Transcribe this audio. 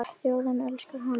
Þjóðin elskar hana.